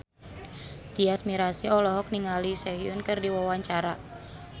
Tyas Mirasih olohok ningali Sehun keur diwawancara